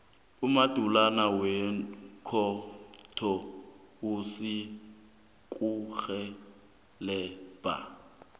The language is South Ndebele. umabhalana wekhotho uzakurhelebha